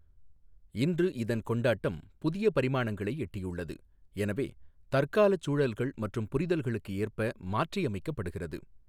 இன்று, இதன் கொண்டாட்டம் புதிய பரிமாணங்களை எட்டியுள்ளது, எனவே தற்காலச் சூழல்கள் மற்றும் புரிதல்களுக்கு ஏற்ப மாற்றியமைக்கப்படுகிறது.